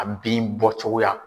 A bin bɔ cogoya.